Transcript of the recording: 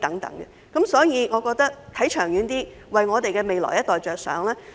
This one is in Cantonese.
因此，我認為要看得長遠一點，為我們未來一代着想。